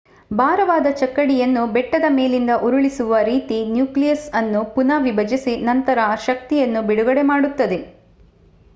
ಭಾರವಾದ ಚಕ್ಕಡಿಯನ್ನು ಬೆಟ್ಟದ ಮೇಲಿಂದ ಉರುಳಿಸುವ ರೀತಿ ನ್ಯೂಕ್ಲಿಯಸ್ ಅನ್ನು ಪುನಃ ವಿಭಜಿಸಿ ನಂತರ ಆ ಶಕ್ತಿಯನ್ನು ಬಿಡುಗಡೆ ಮಾಡುತ್ತದೆ